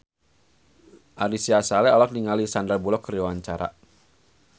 Ari Sihasale olohok ningali Sandar Bullock keur diwawancara